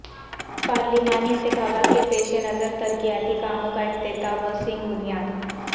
پارلیمانی انتخابات کے پیش نظر ترقیاتی کاموں کا افتتاح و سنگ بنیاد